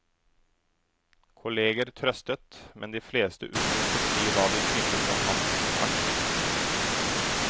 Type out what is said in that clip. Kolleger trøstet, men de fleste unnlot å si hva de syntes om hans aksjon.